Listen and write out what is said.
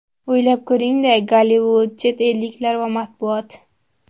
O‘ylab ko‘ring-da: Gollivud, chet elliklar va matbuot.